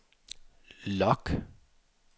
log